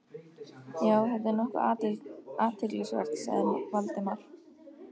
Já, þetta er nokkuð athyglisvert sagði Valdimar.